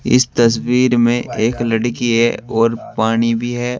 इस तस्वीर में एक लड़की है और पानी भी है।